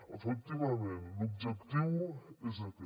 efectivament l’objectiu és aquest